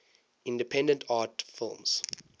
independent art films